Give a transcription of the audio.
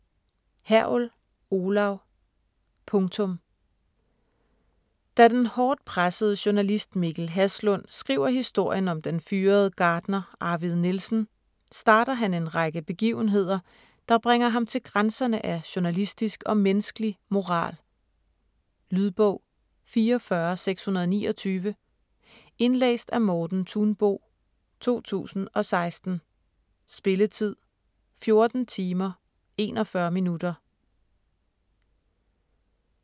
Hergel, Olav: Punktum Da den hårdt pressede journalist Mikkel Haslund skriver historien om den fyrede gartner Arvid Nielsen, starter han en række begivenheder, der bringer ham til grænserne af journalistisk og menneskelig moral. Lydbog 44629 Indlæst af Morten Thunbo, 2016. Spilletid: 14 timer, 41 minutter.